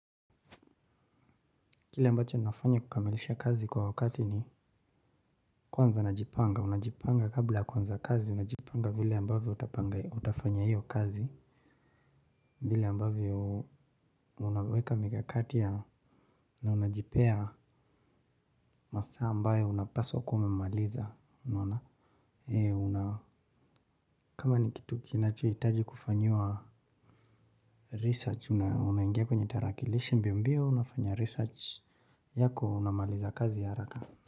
Kile ambacho ninafanya kukamilisha kazi kwa wakati ni kwanza najipanga, unajipanga kabla kuanza kazi unajipanga vile ambavyo utapanga utafanya hiyo kazi vile ambavyo unaweka mikakati ya na unajipea masaa ambayo unapaswa kuwa umemaliza unaona e kama ni kitu kinachohitaji kufanyiwa research una, unaingia kwenye tarakilishi mbio mbio unafanya research yako unamaliza kazi ya haraka.